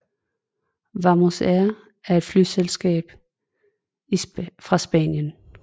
Wamos Air er et flyselskab fra Spanien